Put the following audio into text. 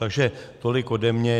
Takže tolik ode mě.